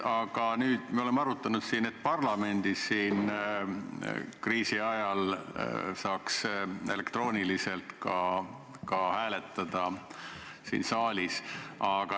Aga nüüd me oleme arutanud, et parlamendis peaks kriisi ajal saama elektrooniliselt hääletada ka siin saalis.